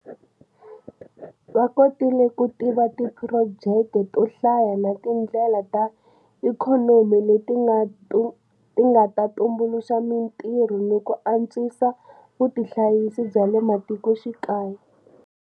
Va kotile ku tiva tiphurojeke to hlaya na tindlela ta ikhonomi leti nga ta tumbuluxa mitirho ni ku antswisa vutihanyisi bya le matikoxikaya.